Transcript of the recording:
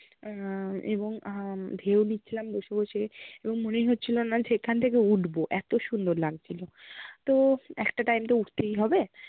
আহ এবং আহ ঢেউ নিচ্ছিলাম বসে-বসে, এবং মনেই হচ্ছিল না যে এখান থেকে উঠবো, এত সুন্দর লাগ্ছিল তো একটা time তো উঠতেই হবে